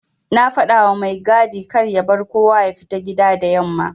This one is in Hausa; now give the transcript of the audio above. Na fadawa mai gadi karya bar kowa yafita gida da yamma.\